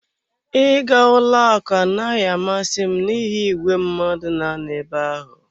Ịga ụlọ akụ anaghị amasị m n'ihi igwe mmadụ na-anọ ebe ahụ.